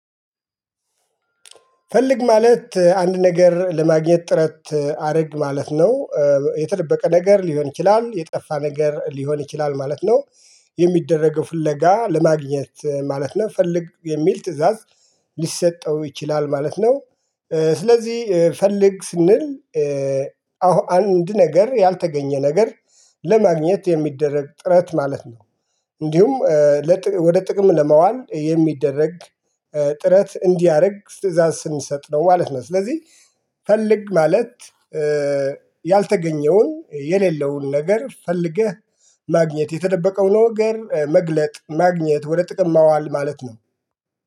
ፈልግ ማለት አንድ ነገር ለማግኘት ጥረት አድርግ ማለት ነው የተደበቀ ነገር ሊሆን ይችላል የጠፋ ነገር ሊሆን ይችላል ማለት ነው። የሚደረገው ፍለጋ ለማግኘት ማለት ነው ፈልግ የሚል ትእዛዝ ሊሰጠው ይችላል ማለት ነው። ስለዚህ ፈልግ ስንል አሁን አንድ ነገር ያልተገኘ ነገር ለማግኘት የሚደረግ ጥረት ማለት ነው እንዲሁም ወደ ጥቅም ለመዋል የሚደረግ ጥረት እንዲያደርግ ትእዛዝ ስንሰጠው ማለት ነው ስለዚህ ፈልግ ማለት ያልተገኘውን የሌለውን ነገር ፈልገህ ማግኘት የተደበቀውን ነገር መግለጥ ማግኘት ወደ ጥቅም ማዋል ማለት ነው።